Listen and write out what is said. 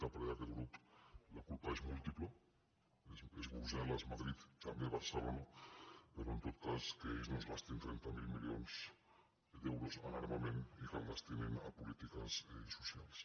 a parer d’aquest grup la culpa és múltiple és brussel·les madrid tam·bé barcelona però en tot cas que ells no es gastin trenta miler milions d’euros en armament i que el destinin a polítiques socials